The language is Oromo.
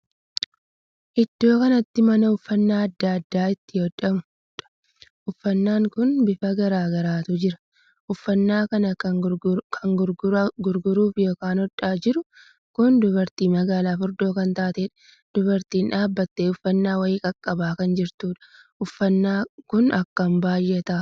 Iddoo kanatti mana uffannaa addaa addaa itti hodhamuudha. uffannaan kun bifa garaagaraatu jira. uffannaa kan kan gurguraaf ykn hodhaa jiru kun dubartii magaala furdoo kan taateedha. dubartiin dhaabbattee uffannaa wayii qaqqabaa kan jirtudha. uffannaa kun akkam baay'ata!